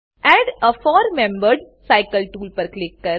add a four membered cycle tool પર click કરો